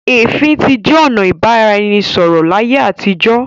ẹfin tí jẹ ọnà ibaraẹnisọrọ l'aiye àtijọ.